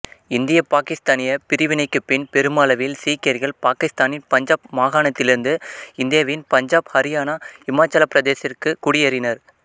இந்திய பாகிஸ்தானிய பிரிவினைக்குப் பின் பெருமளவில் சீக்கியர்கள் பாகிஸ்தானின் பஞ்சாப் மாகாணத்திலிருந்து இந்தியாவின் பஞ்சாப் ஹரியானா இமாச்சலப் பிரதேசத்திற்கு குடியேறினர்